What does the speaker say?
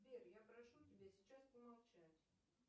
сбер я прошу тебя сейчас помолчать